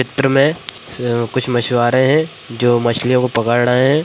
चित्र में अ कुछ मछुआरे हैं जो मछलियों को पकड़ रहे हैं।